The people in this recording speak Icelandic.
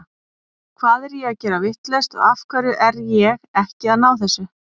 Hvað er ég að gera vitlaust og af hverju er ég ekki að ná þessu?